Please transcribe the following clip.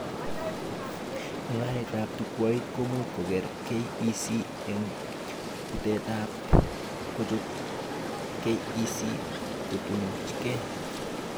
Mugaretab chukwait komuch koker KEC eng bolatet ak kochob Kec kotunuchke